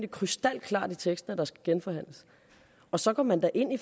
krystalklart i teksten og så går man da ind i